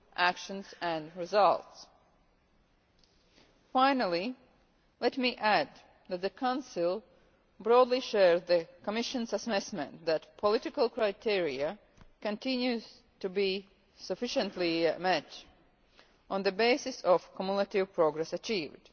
action and results. Finally, let me add that the Council broadly shares the Commission's assessment that the political criteria continue to be sufficiently met, on the basis of the cumulative progress achieved.